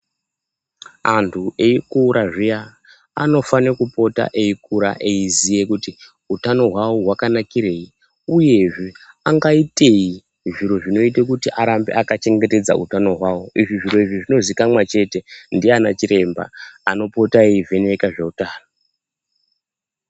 Antu eikura zviya, anofane kupota eikura eiziya kuti utano hwawo hwakanakirei? Uyezve angaitei zviro zvinoita kuti arambe akachengetedza utano hwawo. Zviro izvi zvinozikanwa chete ndiana chiremba anopota eivheneka zveutano.